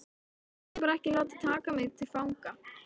Ég vildi bara ekki láta taka mig til fanga